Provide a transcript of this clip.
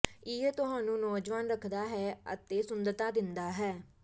ਇਹ ਤੁਹਾਨੂੰ ਨੌਜਵਾਨ ਰੱਖਦਾ ਹੈ ਅਤੇ ਸੁੰਦਰਤਾ ਦਿੰਦਾ ਹੈ